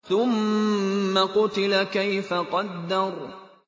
ثُمَّ قُتِلَ كَيْفَ قَدَّرَ